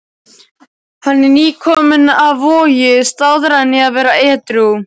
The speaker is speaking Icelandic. Hann er nýkominn af Vogi, staðráðinn í að vera edrú.